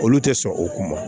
Olu tɛ sɔn o ma